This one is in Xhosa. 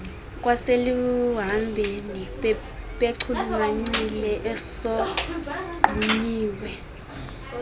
kwaseluhambeni bechulumancile esogqunyiwe